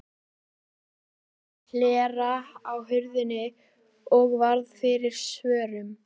Hann opnaði hlera á hurðinni og varð fyrir svörum.